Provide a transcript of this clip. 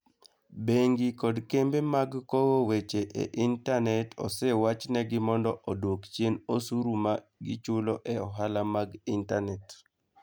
Bengi kod kembe mag kowo weche e intanet osewachnegi mondo odwok chien osuru ma gichulo e ohala mag intanet.